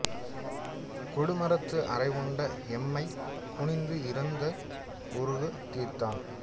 கொடு மரத்து அறைவுண்டு எம்மைக் குணித்து இறந்து ஒருங்கு தீர்த்தான்